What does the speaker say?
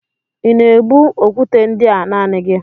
Ị na-ebu okwute ndị a naanị gị?